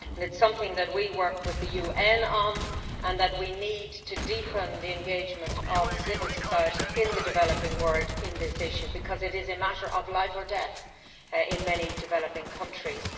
It is something that we work on with the UN and we need to deepen the involvement of civil society in the developing world on this issue because it is a matter of life or death in many developing countries.